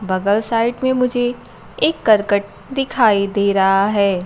बगल साइड में मुझे एक करकट दिखाई दे रहा है।